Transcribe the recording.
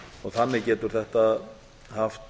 þannig getur þetta haft